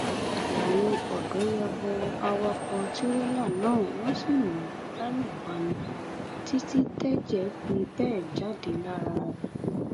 làwọn ọdọ bá ya bo awakọ tìrẹlà náà wọn sì lù ú lálùbami títí tẹjẹ fi bẹ jáde lára rẹ